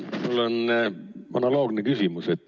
Mul on analoogne küsimus.